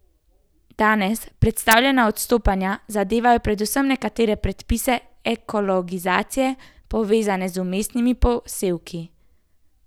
Danes predstavljena odstopanja zadevajo predvsem nekatere predpise ekologizacije, povezane z vmesnimi posevki.